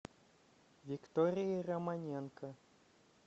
викторией романенко